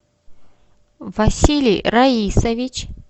василий раисович